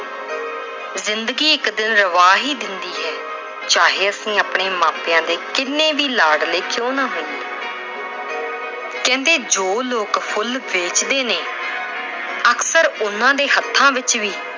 ਜ਼ਿੰਦਗੀ ਇੱਕ ਦਿਨ ਰਵਾ ਹੀ ਦਿੰਦੀ ਹੈ। ਚਾਹੇ ਅਸੀਂ ਆਪਣੇ ਮਾਪਿਆਂ ਦੇ ਜਿੰਨੇ ਵੀ ਲਾਡਲੇ ਕਿਉਂ ਨਾ ਹੋਈਏ। ਕਹਿੰਦੇ ਜੋ ਲੋਕ ਫੁੱਲ ਵੇਚਦੇ ਨੇ, ਅਕਸਰ ਉਹਨਾਂ ਦੇ ਹੱਥਾਂ ਵਿੱਚ ਵੀ